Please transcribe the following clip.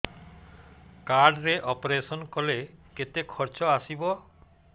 card ରେ operation କଲେ କେତେ ଖର୍ଚ ଆସିବ